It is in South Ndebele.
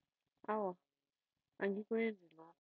Awa, angikwenzi lokho.